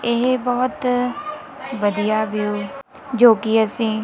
ਇਹ ਬਹੁਤ ਵਧੀਆ ਵਿਊ ਜੋ ਕਿ ਅਸੀਂ।